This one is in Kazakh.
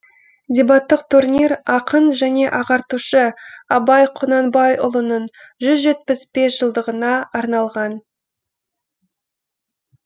дебаттық турнир ақын және ағартушы абай құнанбайұлының жүз жетпіс бес жылдығына арналған